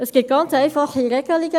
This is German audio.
Es gibt ganz einfache Regelungen: